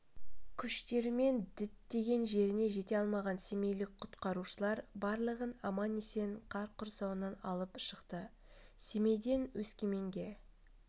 күштерімен діттеген жеріне жете алмаған семейлік құтқарушылар барлығын аман-есен қар құрсауынан алып шықты семейден өскеменге